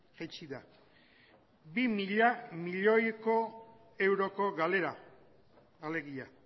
jaitsi da bi mila milioiko euroko galera alegia